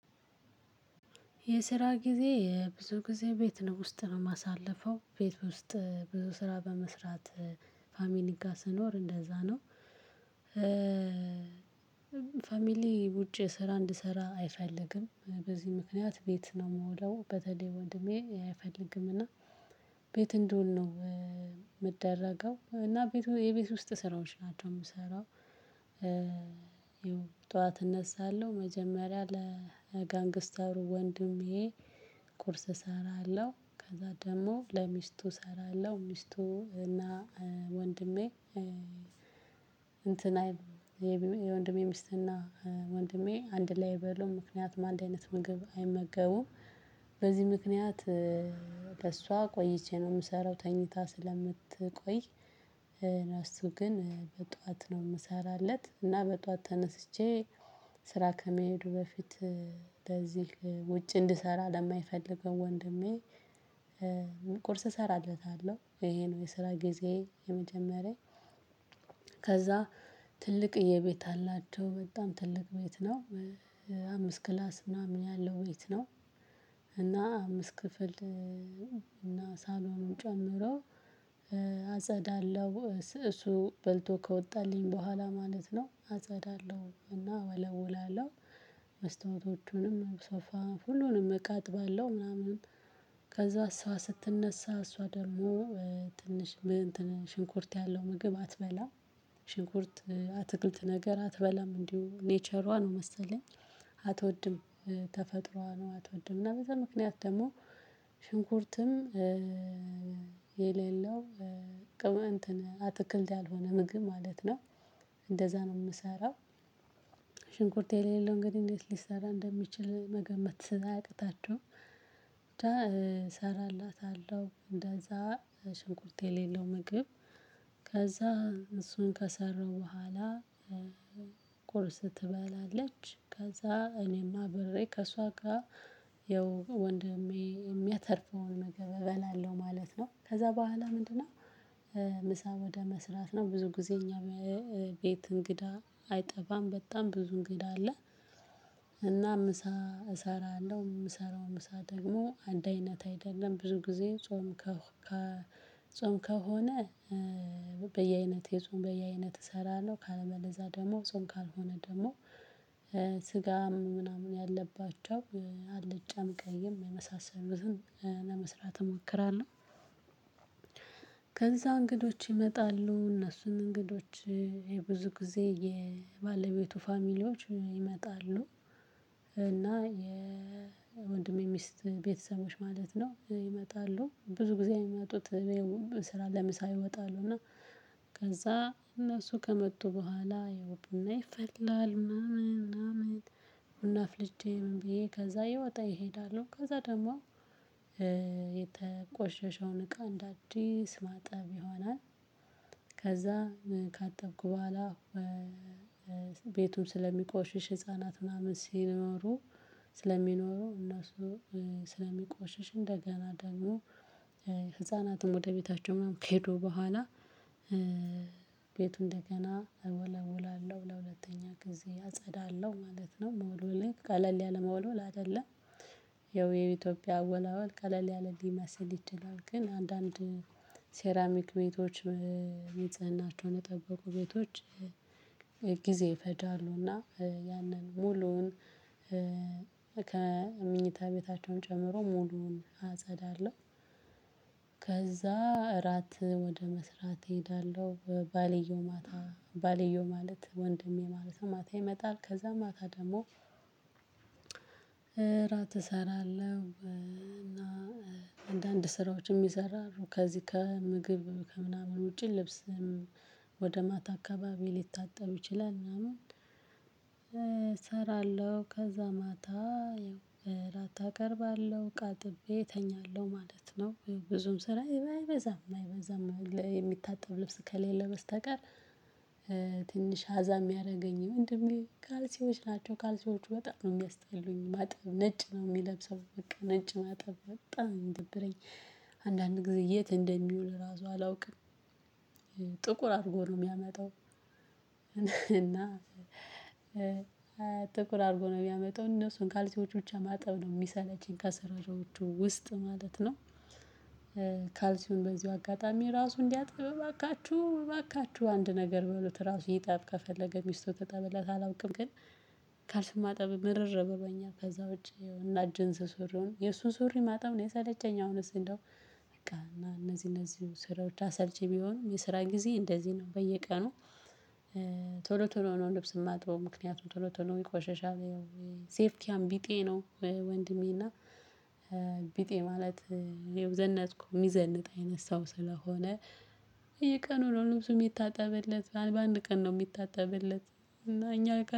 የስራ ጊዜ የብዙ ጊዜ ቤት ነው ውስጥ ነው የማሳልፈው ቤት ውስጥ ብዙ ስራ በመስራት ፋሚሊ ጋር ስኖር እንደዛ ነው። ፋሚሊ ውጪ ስራ እንድሰራ አይፈልግም በዚህ ምክንያት ቤት ነው የምውለው በተለይ ወንድሜ አይፈልግም። ቤት እንደውል ነው የምደረገው እና የቤቱ የቤት ውስጥ ስራዎች ናቸው የምሰራው። ያው ጠዋት እነሳለሁ መጀመሪያ ለጋንግስተሩ ወንድሜ። ቁርስ እሰራለሁ ከዛ ደግሞ ለሚስቱ እሰራለሁ ሚስቱ እና ወንድሜ እንትን አይደለም የወንድሜ ሚስትና ወንድሜ አንድ ላይ አይበሉም ምክንያት አንድ አይነት ምግብ አይመገቡም። በዚህ ምክንያት ቆይቼ ነው የምሰራው ተኝታ ስለምትቆይ። ለእሱ ግን በጧት ነው የምሰራለት። እና በጧት ተነስቼ ስራ ከመሄዱ በፊት ለዚህ ውጭ እንድሰራ ለማይፈልገው ወንድሜ ቁርስ እሰራለታለሁ ይሄ ነው የስራ ጊዜየ የመጀመሪያ። ከዛ ትልቅየ ቤት አላቸው በጣም ትልቅ ቤት ነው። አምስት ክላስ ምናምን ያለው ቤት ነው። እና አምስት ክፍልና ሳሎኑን ጨምሮ። አጸዳለሁ እሱ በልቶ ከወጣልኝ በኋላ ማለት ነው አጸዳለሁ እና እወለወላለሁ። መስታወቶቹንም ሶፋ ሁሉንም እቃ አጥባለሁ ምናምን። ከዛ እሷ ስትነሳ እሷ ደግሞ ትንሽ እንትን ሽንኩርት ያለው ምግብ አትበላ ሽንኩርት አትክልት ነገር አትበላም እንዲሁ ኔቸሯ ነው መሰለኝ አትወድም። ተፈጥሮዋ ነው አትወድም እና በዛ ምክንያት ደግሞ ሽንኩርትም የሌለው ቅመን እንትን አትክልት ያልሆነ ምግብ ማለት ነው። እንደዛ ነው የምሰራው። ሽንኩርት የሌለው እንግዲህ ሊሰራ እንደሚችል መገመት አያቅታችሁምብቻ። እሰራላታለሁ እንደዛ ሽንኩርት የሌለው ምግብ ከዛ እሱን ከሰራው በኋላ። ቁርስ ትበላለች ከዛ እኔም አብሬ ከእሷ ጋር ያው ወንድሜ የሚያተርፈውን ምግብ እበላለሁ ማለት ነው። ከዛ በኋላ ምንድነው? ምሳ ወደ መስራት ነው ብዙ ጊዜ እኛ ቤት እንግዳ አይጠፋም በጣም ብዙ እንግዳ አለ። እና ምሳ እሰራለሁ የምሰራው ምሳ ደግሞ አንድ አይነት አይደለም ብዙ ጊዜ ጾም ከጾም ከሆነ። በየአይነት የጾም በየአይነት እሰራለሁ ካለበለዛ ደግሞ ጾም ካልሆነ ደግሞ ስጋ ምናምን ያለባቸው አለጫም ቀይም የመሳሰሉትን ለመስራት እሞክራለሁ። ከዛ እንግዶች ይመጣሉ እነሱን እንግዶች የብዙ ጊዜ የባለቤቱ ፋሚሊዎች ይመጣሉ። እና የወንድሜ ሚስት ቤተሰቦች ማለት ነው ይመጣሉ ብዙ ጊዜ የሚመጡት። ስራ ለምሳ ይመጣሉ እና ከዛ እነሱ ከመጡ በኋላ ያው ቡና ይፈላል ምናምን ምናምን። ቡና አፍልቼ ምን ብዬ ከዛ ይወጣ እሄዳለሁ ከዛ ደግሞ የተቆሸሸውን እቃ እንደ አዲስ ማጠብ ይሆናል። ከዛ ካጠብኩ በኋላ ቤቱም ስለሚቆሽሽ ህፃናት ምናምን ሲኖሩ። ስለሚኖሩ እነሱ ስለሚቆሽሽ እንደገና ደግሞ ህፃናትም ወደ ቤታቸው ምናምን ከሄዱ በኋላ። ቤቱ እንደገና እወለውላለሁ ለሁለተኛ ጊዜ አጸዳለሁ ማለት ነው መወለውሌ ቀለል ያለ መወልወል አይደለም። ይኸው የኢትዮጵያ አወላወል ቀለል ያለ ሊመስል ይችላል ግን አንዳንድ ሴራሚክ ቤቶችም ንጽህናቸውን የጠበቁ ቤቶች። ጊዜ ይፈጃሉና ያንን ሙሉውን ከምኝታ ቤታቸውን ጨምሮ ሙሉውን አጸዳለሁ። ከዛ እራት ወደ መስራት እሄዳለሁ። ባልዮው ማታ ባልዮው ማለት ወንድሜ ማለት ማታ ይመጣል ከዛ ማታ ደግሞ እራት እሰራለሁ እና አንዳንድ ስራዎችን የሚሰራሩ ከዚህ ከምግብ ከምናምን ውጪ ልብስም ወደ ማታ አካባቢ ሊታጠብ ይችላል ምናምን። እሰራለሁ ከዛ ማታ እራት አቀርባለሁ እቃ አጥቤ እተኛለሁ ማለት ነው። ብዙም ስራ አይበዛም አይበዛም የሚታጠብ ልብስ ከሌለ በስተቀር። ትንሽ አዛ የሚያደርገኝ የወንድሜ ካልሲዎች ናቸው ካልሲዎች በጣም ነው የሚያስጠሉኝ ማጠብ ነጭ ነው የሚለብሰው በቃ ነጭ ማጠብ በጣም ነው ሚደብረኝ። አንዳንድ ጊዜ የት እንደሚውል ራሱ አላውቅም። ጥቁር አድርጎ ነው የሚያመጣው። እና ጥቁር አድርጎ ነው የሚያመጣው እነሱን ካልሲዎች ብቻ ማጠብ ነው የሚሰለችኝ ከስራወቹ ውስጥ ማለት ነው። ካልሲውን በዚሁ አጋጣሚ ራሱ እንዲያጥብ እባካችሁ እባካችሁ አንድ ነገር በሉት ራሱ ይጠብ ከፈለገ ሚስቱ ትጠብለት አላውቅም ግን። ማጠብ ምርር ብሎኛል ከዛ ውጪ እና ጅንስ ሱሪውን የእሱን ሱሪ ማጠብ ነው የሰለቸኝ። አሁንስ እንደው በቃ እነዚህ እነዚህ ስራዎች አሰልቺ ቢሆንም የስራ ጊዜዬ እንደዚህ ነው በየቀኑ። ቶሎ ነው ልብስ የማጥበው ምክንያቱም ቶሎ ቶሎ ነው ይቆሸሻል። ሴፍቲያም ቢጤ ነው። ወንድሜና ቢጤ ማለት የዘነጥኩ የሚዘንጥ አይነት ሰው ስለሆነ። ነው ልብሱ የሚታጠብለት በአንድ ቀን ነው የሚታጠብለት። እና እኛ